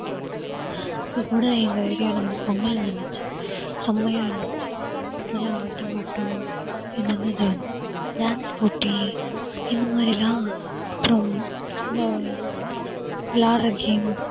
இப்ப கூட எங்க arae ல வந்து பொங்கல் நடந்துச்சு செம்மையா இருந்துச்சு. நல்ல ஆட்டம் பாட்டம் இது என்னது dance போட்டி இந்த மாதிரி எல்லாம் அப்புறம் இந்த விளையாடுற game